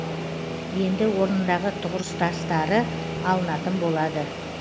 енді орнындағы тұғыртастары алынатын болады